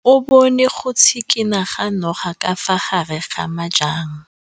O bone go tshikinya ga noga ka fa gare ga majang.